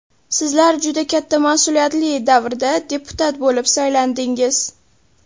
Sizlar juda katta mas’uliyatli davrda deputat bo‘lib saylandingiz.